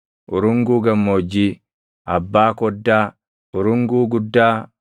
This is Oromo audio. urunguu gammoojjii, abbaa koddaa, urunguu guddaa,